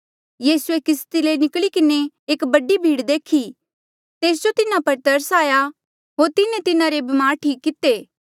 यीसूए किस्ती ले निकली किन्हें एक बडी भीड़ देखी तेस जो तिन्हा पर तरस आई होर तिन्हें तिन्हारे ब्मार ठीक किते